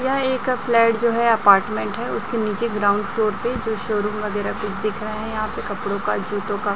यह एक फ्लैट जो है अपार्टमेंट है उसके नीचे ग्राउंड फ्लोर पे जो शोरूम वगैरा पिक दिख रहा हैं यहां पे कपड़ों का जूताें का --